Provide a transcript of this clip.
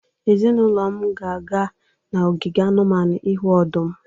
Ezinụlọ m ga-aga n'ogige anụmanụ ịhụ ọdụm.